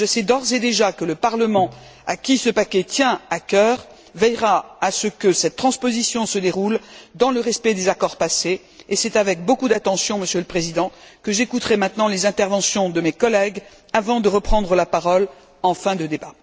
Je sais d'ores et déjà que le Parlement, à qui ce paquet tient à cœur, veillera à ce que cette transposition se déroule dans le respect des accords passés, et c'est avec beaucoup d'attention, Monsieur le Président, que j'écouterai maintenant les interventions de mes collègues avant de reprendre la parole en fin de débat.